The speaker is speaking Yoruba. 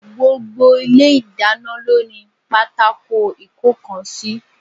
Gbogbo Ilé ìdáná lóní pátákó ìkónkan sí